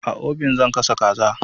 A obin zan gasa kaza.